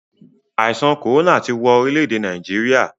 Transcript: Àìsàn kòrónà ti wọn orílè-èdè Nàìjíríà.